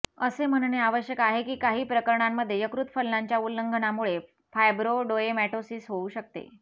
असे म्हणणे आवश्यक आहे की काही प्रकरणांमध्ये यकृत फलनाच्या उल्लंघनामुळे फायब्रोडोएमॅटोसिस होऊ शकते